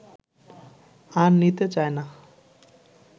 আর নিতে চায় না